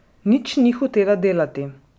Nič ni hotela delati.